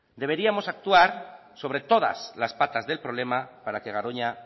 deberíamos actuar sobre todas las patas del problema para que garoña